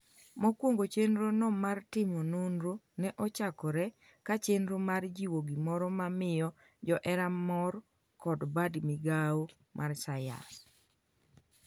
mokwongo chenro no mar timo nonro ne ochakore ka chenro mar jiwo gimoro ma miyo johera mor kod bad migawo mar sayans